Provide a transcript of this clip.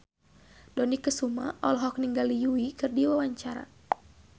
Dony Kesuma olohok ningali Yui keur diwawancara